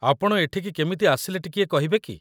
ଆପଣ ଏଠିକି କେମିତି ଆସିଲେ ଟିକିଏ କହିବେ କି?